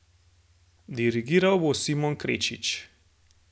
Dirigiral bo Simon Krečič.